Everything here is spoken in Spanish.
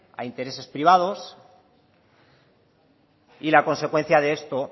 a intereses privados y la consecuencia de esto